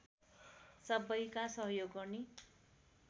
सबैका सहयोग गर्ने